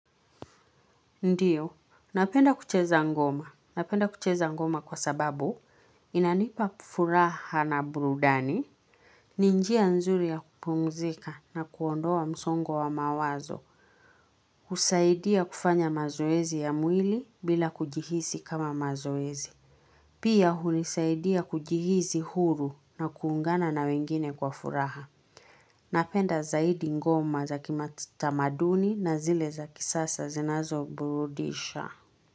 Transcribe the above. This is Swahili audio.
Ndiyo, napenda kucheza ngoma. Napenda kucheza ngoma kwa sababu inanipa furaha na burudani, ninjia nzuri ya kupumzika na kuondoa msongo wa mawazo, husaidia kufanya mazoezi ya mwili bila kujihisi kama mazoezi. Pia hunisaidia kujihizi huru na kuungana na wengine kwa furaha. Napenda zaidi ngoma za kimata maduni na zile za kisasa zinazo burudisha.